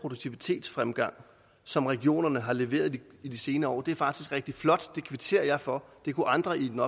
produktivitetsfremgang som regionerne har leveret i de senere år det er faktisk rigtig flot og det kvitterer jeg for det kunne andre i den